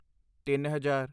ਤਿੱਨ ਹਜ਼ਾਰ